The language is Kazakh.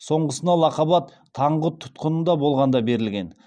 соңғысына лақап ат таңғұт тұтқынында болғанда берілген